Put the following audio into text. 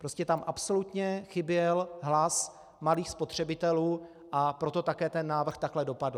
Prostě tam absolutně chyběl hlas malých spotřebitelů, a proto také ten návrh takhle dopadl.